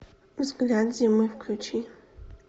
взгляд зимы включи